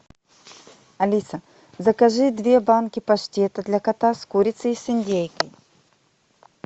алиса закажи две банки паштета для кота с курицей и с индейкой